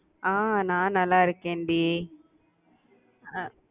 அஹ் நான் நல்லா இருக்கேன்டி. அஹ்